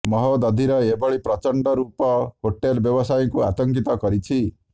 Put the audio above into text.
ମହୋଦଧିର ଏଭଳି ପ୍ରଚଣ୍ଡ ରୂପ ହୋଟେଲ ବ୍ୟବସାୟୀଙ୍କୁ ଆତଙ୍କିତ କରିଛି